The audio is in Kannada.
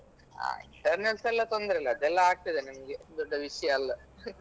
ಆ internals ಎಲ್ಲಾ ತೊಂದ್ರೆ ಇಲ್ಲ ಅದೆಲ್ಲ ಆಗ್ತಾದೆ ನಮ್ಗೆ ದೊಡ್ಡ ವಿಷಯ ಅಲ್ಲ